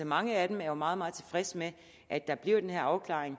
mange af dem er jo meget meget tilfredse med at der bliver den her afklaring